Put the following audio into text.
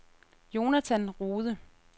Jonathan Rohde